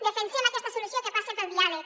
defensem aquesta solució que passa pel diàleg